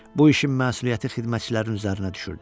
Bu işin məsuliyyəti xidmətçilərin üzərinə düşürdü.